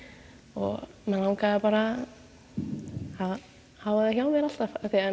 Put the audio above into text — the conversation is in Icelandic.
og mig langaði bara að hafa þau hjá mér alltaf af því að